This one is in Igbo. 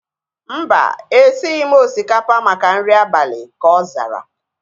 Mba, esighi m osikapa maka nri abalị ka ọ zara